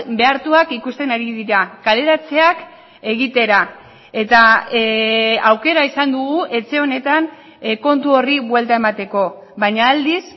behartuak ikusten ari dira kaleratzeak egitera eta aukera izan dugu etxe honetan kontu horri buelta emateko baina aldiz